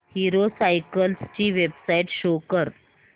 hero cycles ची website show कर